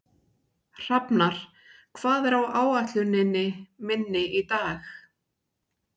Hrafnar, hvað er á áætluninni minni í dag?